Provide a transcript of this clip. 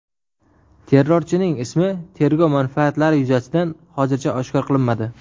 Terrorchining ismi tergov manfaatlari yuzasidan hozircha oshkor qilinmadi.